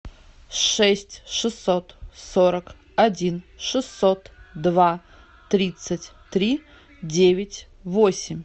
шесть шестьсот сорок один шестьсот два тридцать три девять восемь